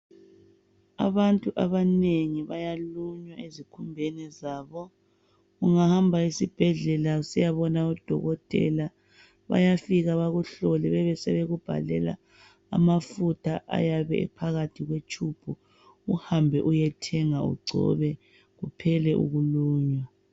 Abantu abanengi bayalunywa ezikhumbeni zabo. Ungahamba esibhedlela usiyabona udokotela, bayafika bakuhlole bebe sebekubhalela amafutha ayabe ephakathi kwe tube uhambe uyethenga ugcobe kuphele ukulunywa.